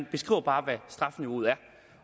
beskriver bare hvad strafniveauet er